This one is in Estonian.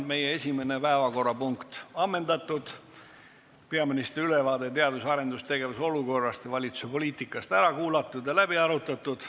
Meie esimene päevakorrapunkt on ammendatud, peaministri ülevaade teadus- ja arendustegevuse olukorrast ja valitsuse poliitikast on ära kuulatud ja läbi arutatud.